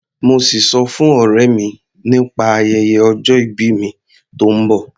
Mo sì sọ fún ọ̀rẹ́ mi nípa ayẹyẹ ọjọ ìbí mi tó ń bọ̀.